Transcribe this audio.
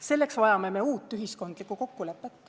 Selleks vajame me uut ühiskondlikku kokkulepet.